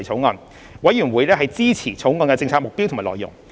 法案委員會支持《條例草案》的政策目標及內容。